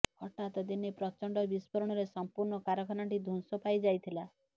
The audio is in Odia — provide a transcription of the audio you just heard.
ହଠାତ ଦିନେ ପ୍ରଚଣ୍ଡ ବିସ୍ଫୋରଣରେ ସମ୍ପୂର୍ଣ୍ଣ କାରଖାନାଟି ଧ୍ବଂସ ପାଇଯାଇଥିଲା